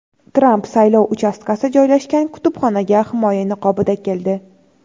Tramp saylov uchastkasi joylashgan kutubxonaga himoya niqobida keldi.